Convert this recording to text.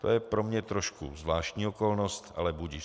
To je pro mě trošku zvláštní okolnost, ale budiž.